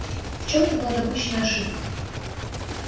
в чём то была допущена ошибка